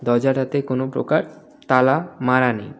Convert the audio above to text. দরজাটাতে কোনও প্রকার তালা মারা নেই.